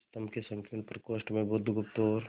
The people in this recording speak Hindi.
स्तंभ के संकीर्ण प्रकोष्ठ में बुधगुप्त और